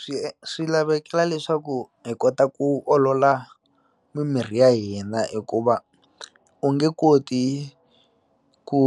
Swi swi lavekela leswaku hi kota ku olola mimirhi ya hina hikuva u nge koti ku